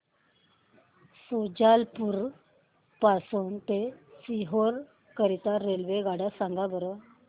शुजालपुर पासून ते सीहोर करीता रेल्वेगाड्या सांगा बरं